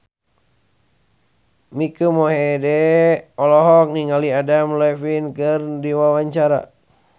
Mike Mohede olohok ningali Adam Levine keur diwawancara